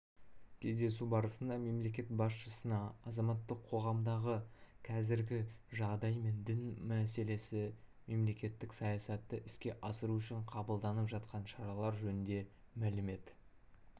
кездесу барысында мемлекет басшысына азаматтық қоғамдағы қазіргі жағдай мен дін саласындағы мемлекеттік саясатты іске асыру үшін қабылданып жатқан шаралар жөнінде мәлімет